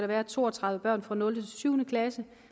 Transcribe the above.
være to og tredive børn fra nulte syv klasse